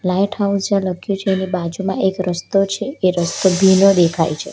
Light house જ્યાં લખ્યું છે એની બાજુમાં એક રસ્તો છે એ રસ્તો ભીનો દેખાય છે.